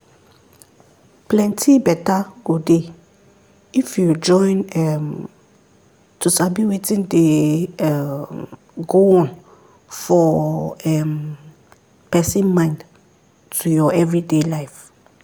plenty better go dey if you join um to sabi wetin dey um go on for um person mind to your everyday life.